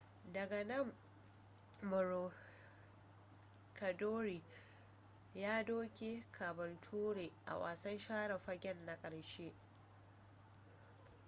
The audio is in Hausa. daga nan maroochydore ya doke caboolture a wasan share fagen na ƙarshe